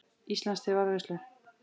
Íslands til varðveislu.